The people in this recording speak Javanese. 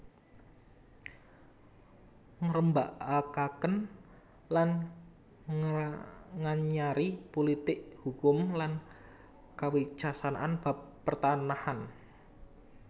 Ngrembakakaken lan nganyari pulitik hukum lan kawicaksanan bab pertanahan